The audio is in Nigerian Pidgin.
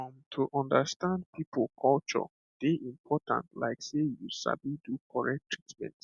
um to understand people culture dey important like sey you sabi do correct treatment